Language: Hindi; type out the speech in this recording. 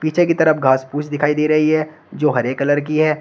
पीछे की तरफ घास फूस दिखाई दे रही है जो हरे कलर की है।